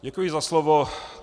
Děkuji za slovo.